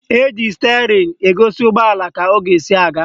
Eji stịerịn egosi ụgbọala ka ọ ga-esi aga